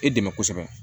E dɛmɛ kosɛbɛ